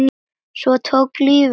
Svo tók lífið við.